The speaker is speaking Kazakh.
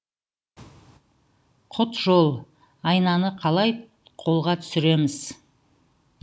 құтжол айнаны қалай қолға түсіреміз